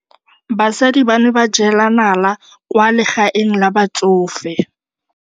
Basadi ba ne ba jela nala kwaa legaeng la batsofe.